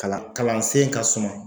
Kalan kalansen ka suma.